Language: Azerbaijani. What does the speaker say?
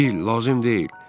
Bill, lazım deyil.